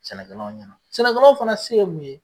Sɛnɛkɛlaw ɲɛna sɛnɛkɛlaw fana se ye mun ye ?